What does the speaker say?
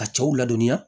Ka cɛw ladɔnniya